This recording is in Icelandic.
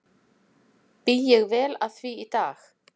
Bý ég vel að því í dag.